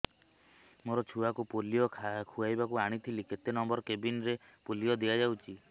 ମୋର ଛୁଆକୁ ପୋଲିଓ ଖୁଆଇବାକୁ ଆଣିଥିଲି କେତେ ନମ୍ବର କେବିନ ରେ ପୋଲିଓ ଦିଆଯାଉଛି